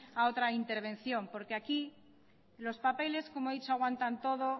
a otra intervención porque aquí los papeles como he dicho aguantan todo